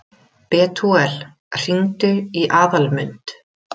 Betúel, hringdu í Aðalmund.